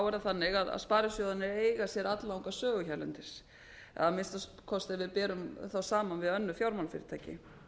er það þannig að sparisjóðirnir eiga sér alllanga sögu hérlendis að minnsta kosti ef við berum þá saman við önnur fjármálafyrirtæki